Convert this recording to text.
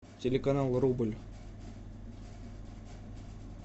телеканал рубль